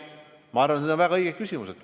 Ma arvan, et need on väga õiged küsimused.